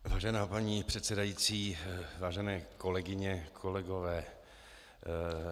Vážená paní předsedající, vážené kolegyně, kolegové.